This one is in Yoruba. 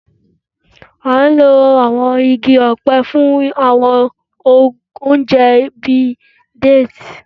A n lo àwọn igi ọ̀pẹ fún àwọn oúnjẹ bíi déètì.